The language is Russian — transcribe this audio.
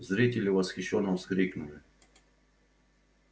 зрители восхищённо вскрикнули